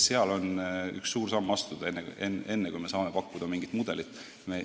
Seega on vaja üks suur samm astuda enne, kui me saame pakkuda mingit mudelit.